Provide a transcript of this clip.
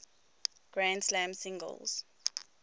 grand slam singles